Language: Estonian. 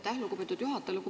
Aitäh, lugupeetud juhataja!